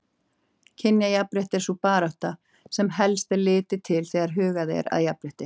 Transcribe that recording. Kynjajafnrétti er sú barátta sem helst er litið til þegar hugað er að jafnrétti.